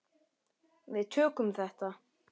Við tökum þetta.